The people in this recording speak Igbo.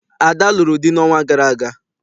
Ada lụrụ di n'ọnwa gara aga.